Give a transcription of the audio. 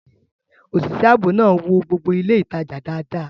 Òṣìṣẹ́ ààbò náà wo gbogbo ilé ìtajà dáadáa